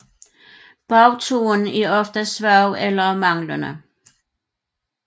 Bagtåen er ofte svag eller manglende